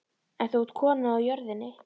En þú átt konu á jörðinni.